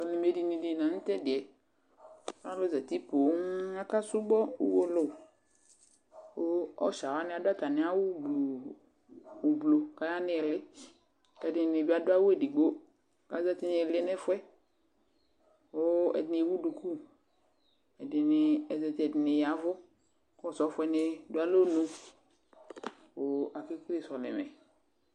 Sɔlɩmɛdini dɩ la nʋ tʋ ɛdɩ yɛ, alʋ zati poo akasʋbɔ uwolowu kʋ ɔsɩa wanɩ adʋ atamɩ awʋgblu oblo kʋ aya nʋ ɩɩlɩ kʋ ɛdɩnɩ bɩ adʋ awʋ edigbo kʋ azati nʋ ɩɩlɩ nʋ ɛfʋ yɛ kʋ ɛdɩnɩ ewu duku, ɛdɩnɩ azati, ɛdɩnɩ ya ɛvʋ kʋ ɔsɔfɔ yɛnɩ dʋ alɔnu kʋ akekele sɔlɩmɛ